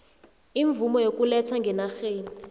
imvumo yokuletha ngenarheni